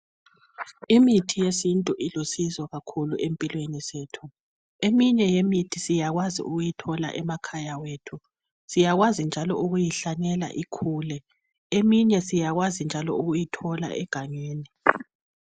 Imithi yesintu ilusizo kakhulu empilweni zethu, eminye yemithi siyakwazi ukuyithola emakhaya ethu, siyakwazi ukuyihlanyela njalo ikhule. Eminye njalo siyakwazi ukuyithola egangeni.